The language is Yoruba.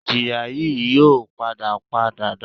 Ìjìyà yìí n yóò padà pa dàda